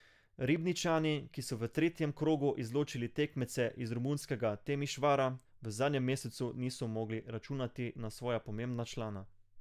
Ribničani, ki so v tretjem krogu izločili tekmece iz romunskega Temišvara, v zadnjem mesecu niso mogli računati na svoja pomembna člena.